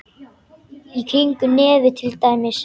Í kringum nefið til dæmis.